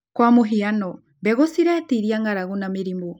Kwa mũhiano, mbegũ ciretiria ng'aragu na mĩrimũ